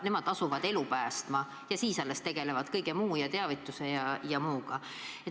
Nemad asuvad elu päästma ja alles siis tegelevad teavitamise ja kõige muuga.